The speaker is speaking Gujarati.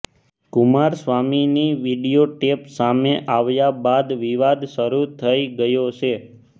કુમારસ્વામીની વીડિયો ટેપ સામે આવ્યા બાદ વિવાદ શરૂ થઈ ગયો છે